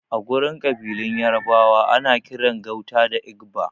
Agurin ƙabilun yarabawa ana kiran gauta da Igba